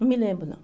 Não me lembro, não.